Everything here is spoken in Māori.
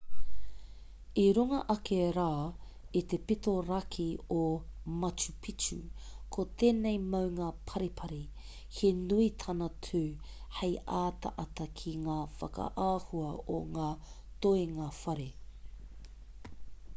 i runga ake rā i te pito raki o machu picchu ko tēnei maunga paripari he nui tāna tū hei ataata ki ngā whakaahua o ngā toenga whare